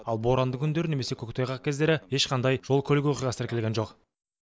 ал боранды күндері немесе көктайғақ кездері ешқандай жол көлік оқиғасы тіркелген жоқ